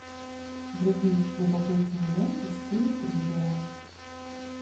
вруби любопытную ленту в стиле триллера